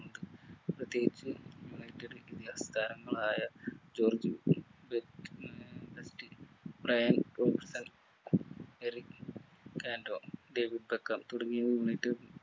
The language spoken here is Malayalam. പ്രത്യേകിച്ചു united ഇതിഹാസ താരങ്ങളായ ജോർജ് എറിക് ആന്റോ ഡേവിഡ് ബക്കർ തുടങ്ങിയ united